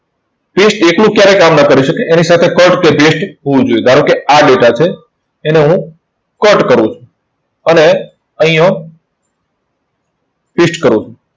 paste એકલું ક્યારે કામ ન કરી શકે. એની સાથે cut કે paste હોવું જોઈએ. ધારો કે આ data છે. એને હું cut કરું છું. અને અહીં હું paste કરું છું.